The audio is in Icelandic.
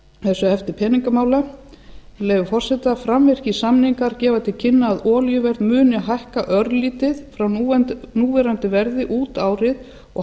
þessu hefti peningamála með leyfi forseta framvirkir samningar gefa til kynna að olíuverð muni hækka örlítið frá núverandi verði út árið og